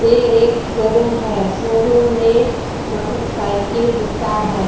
ये एक शो-रूम है। शो-रूम में मोटरसाइकिल बिकता है।